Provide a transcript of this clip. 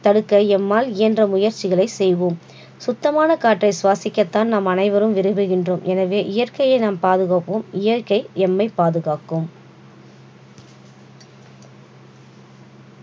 தடுக்க எம்மால் இயன்ற முயற்சிகளை செய்வோம். சுத்தமான காற்றை சுவாசிக்கத்தான் நாம் அனைவரும் விரும்புகின்றோம் எனவே இயற்கையை நான் பாதுகாப்போம் இயற்கை எம்மை பாதுகாக்கும்